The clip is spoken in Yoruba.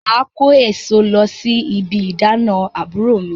Màá kó èso lọ sí ibi ìdána àbúrò mi